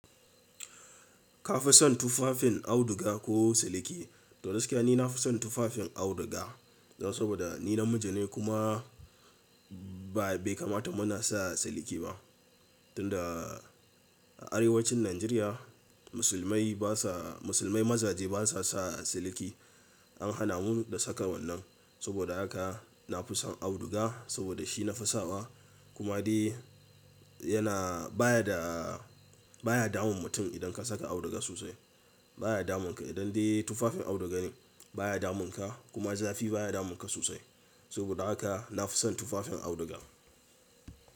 Ka fi son tufafin auduga ko siliki? To gaskiya ni na fi son tufafin auduga. Saboda ni namiji ne kuma baikamata muna sa siliki ba. Tunda a arewacin Najeriya musulmai basa musulmai mazaje basa sa siliki. An hana mu da saka wannan. Saboda haka na fi son auduga saboda shi na fi sawa kuma dai yana baya da baya damun mutum idan ka saka auduga sosai baya damun ka idan dai tufafin auduga ne baya damun ka kuma zafi baya damun ka sosai. Saboda haka na fi son tufafin auduga.